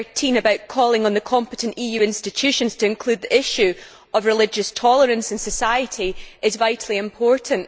Paragraph 13 about calling on the competent EU institutions to include the issue of religious tolerance in society is vitally important.